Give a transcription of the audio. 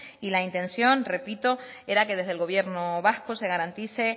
y la intención repito era que desde el gobierno vasco se garantice